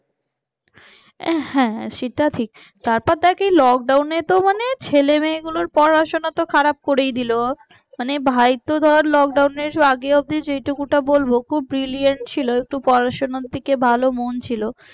আহ হ্যাঁ সেটা ঠিক তারপর দেখ এই lockdown তো মানে ছেলে মেয়ে গুলোর পড়াশোনা খারাপ করে দিল মনে ভাইতো ধর lockdown আগে অব্দি যেটুকু ওটা বলবো খুব brilliant ছিল একটু পড়াশোনার দিকে ভালো মন ছিল